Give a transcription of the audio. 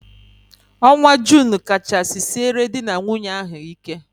Ọnwa Junu kachasị siere dị na nwunye ahụ ike.